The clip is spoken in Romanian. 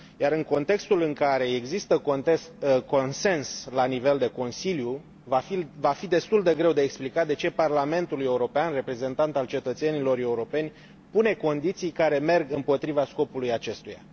În contextul în care există consens la nivel de Consiliu, va fi destul de greu de explicat de ce Parlamentul European, reprezentant al cetățenilor europeni, pune condiții care merg împotriva scopului acestuia.